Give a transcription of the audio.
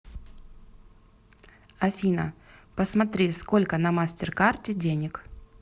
афина посмотри сколько на мастер карте денег